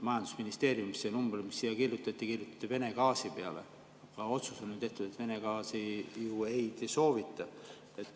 Majandusministeeriumis see number, mis siia kirjutati, kirjutati Vene gaasi peale, aga otsus on tehtud, et Vene gaasi ju ei soovita.